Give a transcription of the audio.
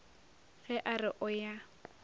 ge a re o ya